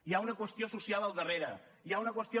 hi ha una qüestió social al darrere hi ha una qüestió